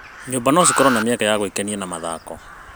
Nyũmba no cikorwo na mĩeke ya gwĩkenia na mathako.